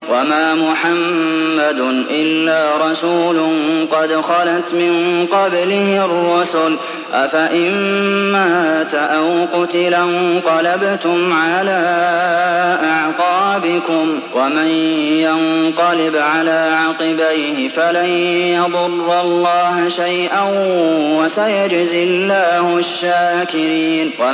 وَمَا مُحَمَّدٌ إِلَّا رَسُولٌ قَدْ خَلَتْ مِن قَبْلِهِ الرُّسُلُ ۚ أَفَإِن مَّاتَ أَوْ قُتِلَ انقَلَبْتُمْ عَلَىٰ أَعْقَابِكُمْ ۚ وَمَن يَنقَلِبْ عَلَىٰ عَقِبَيْهِ فَلَن يَضُرَّ اللَّهَ شَيْئًا ۗ وَسَيَجْزِي اللَّهُ الشَّاكِرِينَ